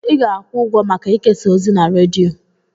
Ị ga-akwụ ụgwọ maka ikesa ozi na redio.